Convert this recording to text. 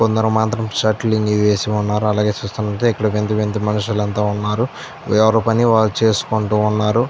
కొందరు మాత్రం షర్ట్ లన్ని వేసిఉన్నారు. అలాగే ఇక్కడ చూస్తున్నట్లైతే వింత వింత మనుషులు అంత ఉన్నారు. ఎవరి పని వాళ్ళు చేసుకొంటున్నారు.